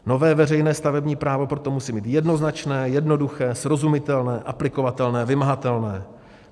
Nové veřejné stavební právo proto musí být jednoznačné, jednoduché, srozumitelné, aplikovatelné, vymahatelné.